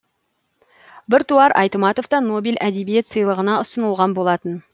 біртуар айтматов та нобель әдебиет сыйлығына ұсынылған болатын